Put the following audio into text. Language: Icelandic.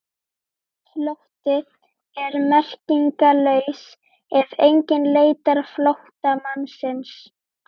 Flótti er merkingarlaus ef enginn leitar flóttamannsins.